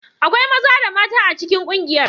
Akwai maza da mata a cikin kungiyar.